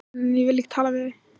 Hvað geri ég nú án þín?